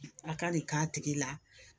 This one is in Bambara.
A ka nin k'a tigi la